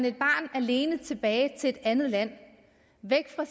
et barn alene tilbage til et andet land væk fra